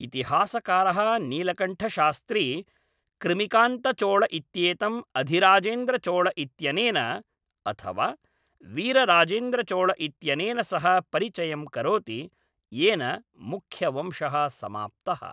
इतिहासकारः नीलकण्ठशास्त्री कृमिकान्तचोळ इत्येतम् अधिराजेन्द्रचोळ इत्यनेन, अथवा वीरराजेन्द्रचोळ इत्यनेन सह परिचयं करोति, येन मुख्यवंशः समाप्तः।